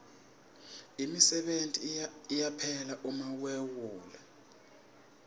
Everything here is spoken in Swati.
imisebenti iyaphela uma wehule